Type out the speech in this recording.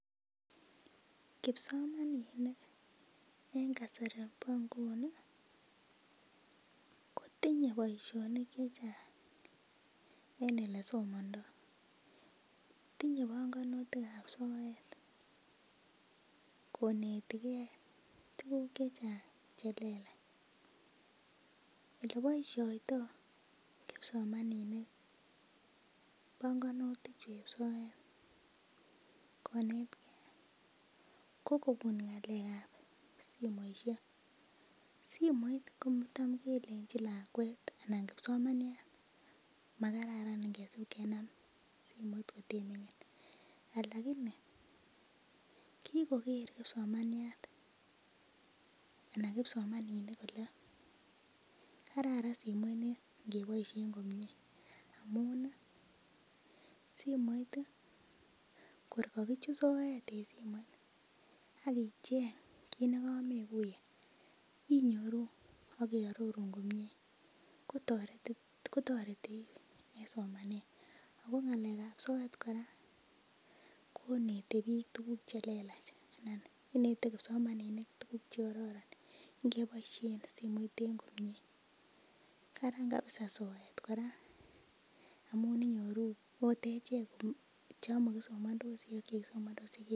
Kipsomaninik en kasari bo nguni kotinye boisionik chechang' en elesomondoo tinye bongunutikab soet konetigee tuguk chechang' chelelach, eleboisiotoo kipsomaninik bongunutik chueb soet konetgee ko kobun ng'alek ab simoisiek. Simoit ko tam kelenjin lakwet anan kipsomaniat makararan ngesib kenam simoit koteiming'in lakini kikoker kipsomaniat ana kipsomaninik kole kararan simoit ni ngeboisyen komie amun ih simoit ih kor kakichut soet en simoit ak icheng' kit nekomekuiye inyoru ak keororun komie kotoreti kotoreti en somanet ako ng'alek ab soet kora konete biik tuguk chelelach anan inete kipsomaninik tuguk chekororon ngeboisyen simoit en komie karan kabisa soet kora amun inyoru ot echek chon mokisomondosi ak chekisomondosi.